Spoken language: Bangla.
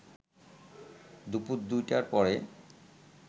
দুপুর ২টার পরে